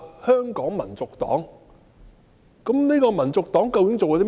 香港民族黨究竟做過甚麼？